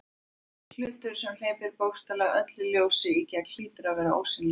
Hlutur sem hleypir bókstaflega öllu ljósi í gegn hlýtur að vera ósýnilegur.